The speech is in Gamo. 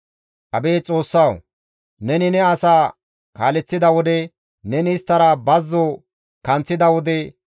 Abeet Xoossawu! Neni ne asa kaaleththida wode, neni isttara bazzo kanththida wode,